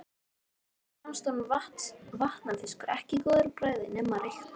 Svo fannst honum vatnafiskur ekki góður á bragðið nema reyktur.